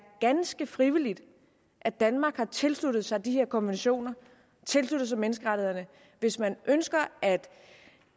ganske frivilligt at danmark har tilsluttet sig de her konventioner og tilsluttet sig menneskerettighederne hvis man ønsker at